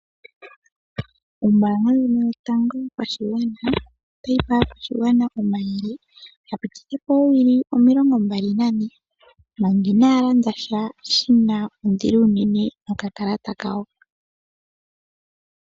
Ombaanga ndjino yotango yopashigwana, otayi pe aakwashigwana omayele, yapitithepo oowili omilongo mbali nane, manga inaaya landa sha nokakalata kawo.